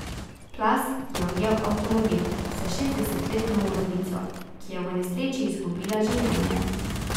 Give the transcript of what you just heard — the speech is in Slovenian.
Plaz je ujel avtomobil s šestdesetletno voznico, ki je v nesreči izgubila življenje.